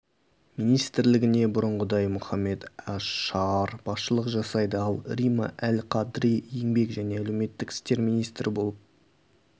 министрлігіне бұрынғыдай мұхаммед аш-шаар басшылық жасайды ал рима әл-қадри еңбек және әлеуметтік істер министрі болып